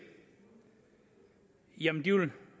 jamen de vil